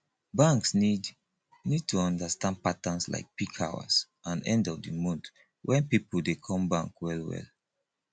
banks need need to understand patterns like peak hours and end of di month when pipo dey come bank well well